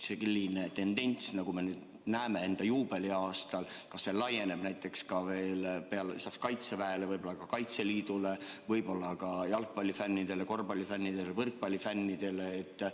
Selline tendents, mida me näeme enda juubeliaastal – kas see laieneb peale Kaitseväe ka Kaitseliidule, võib-olla ka jalgpallifännidele, korvpallifännidele, võrkpallifännidele?